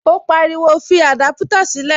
Ó pariwo, fi adaputa sílè